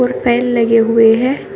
और फैन लगे हुए हैं।